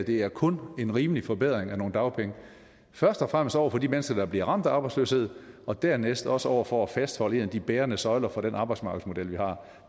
det her kun er en rimelig forbedring af nogle dagpenge først og fremmest over for de mennesker der bliver ramt af arbejdsløshed og dernæst også over for at fastholde en af de bærende søjler for den arbejdsmarkedsmodel vi har